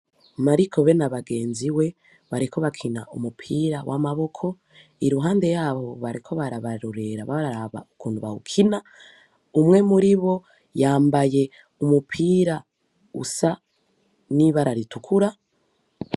Mariko be n'abagenziwe, bariko bakina umupira w'amaboko, iruhande y'abo bariko barabarorera baraba ukuntu bawukina, umwe muri bo yambaye umupira usa n'ibara ritukura.